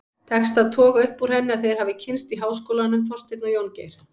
Tekst að toga upp úr henni að þeir hafi kynnst í háskólanum, Þorsteinn og Jóngeir.